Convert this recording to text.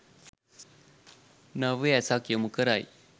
නව්‍ය ඇසක් යොමු කරයි.